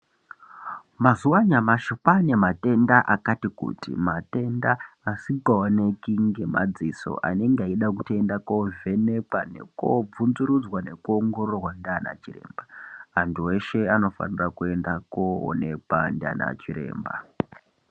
Mazuva anyamashi kwane matenda akati kuti matenda asika oneki nge madziso matenda anenga eida kuto enda ko vhenekwa neko bvunzu rudzwa neku ongororwa nana chiremba antu eshe ano fanira kuenda ko onekwa ndiana chiremba.